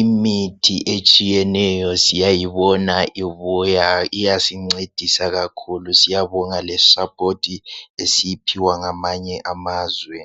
Imithi etshiyeneyo siyayibona ibuya iyasincedisa kakhulu siyabonga lesupport esiyiphiwa ngamanye amazwe